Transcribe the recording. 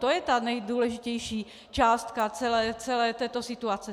To je ta nejdůležitější částka celé této situace.